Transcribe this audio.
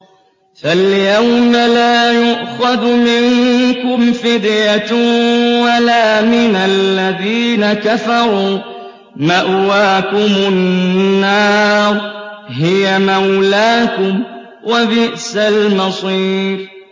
فَالْيَوْمَ لَا يُؤْخَذُ مِنكُمْ فِدْيَةٌ وَلَا مِنَ الَّذِينَ كَفَرُوا ۚ مَأْوَاكُمُ النَّارُ ۖ هِيَ مَوْلَاكُمْ ۖ وَبِئْسَ الْمَصِيرُ